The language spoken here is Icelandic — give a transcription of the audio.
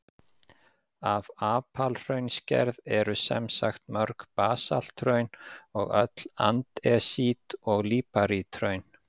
Af apalhraunsgerð eru sem sagt mörg basalthraun og öll andesít- og líparíthraun.